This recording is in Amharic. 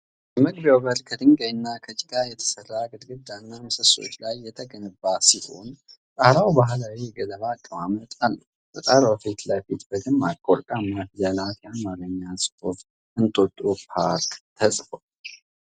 የመግቢያው በር ከድንጋይና ከጭቃ በተሰራ ግድግዳ እና ምሰሶዎች ላይ የተገነባ ሲሆን፣ ጣራው ባህላዊ የገለባ አቀማመጥ አለው። በጣራው ፊት ለፊት በደማቅ ወርቃማ ፊደላት የአማርኛ ጽሑፍ "እንጦጦ ፓርክ" ተጽፏል።